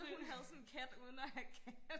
så hun havde sådan kat uden at have kat